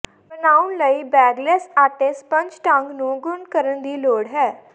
ਬਣਾਉਣ ਲਈ ਬੇਗਲਸ ਆਟੇ ਸਪੰਜ ਢੰਗ ਨੂੰ ਗੁਨ੍ਹ ਕਰਨ ਦੀ ਲੋੜ ਹੈ